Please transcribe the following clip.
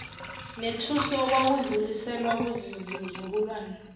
nethusi okwakudluliselwa kuzizukulwane